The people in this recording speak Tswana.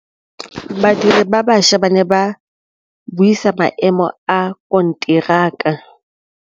Badiri ba baša ba ne ba buisa maêmô a konteraka.